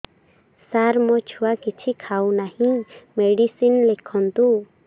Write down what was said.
ସାର ମୋ ଛୁଆ କିଛି ଖାଉ ନାହିଁ ମେଡିସିନ ଲେଖନ୍ତୁ